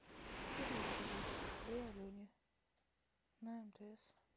перевести двести рублей алене на мтс